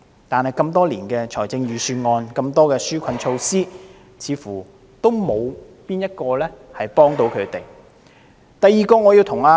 然而，多年來的預算案，即使有很多紓困措施，似乎都沒有哪一項可以幫助他們。